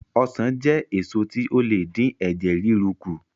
Ọsàn jẹ́ èso tí ó le dín ẹ̀jẹ̀ ríru kù